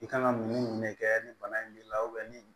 I kan ka mun ne kɛ ni bana in b'i la ni